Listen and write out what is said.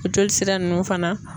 O jolisira nunnu fana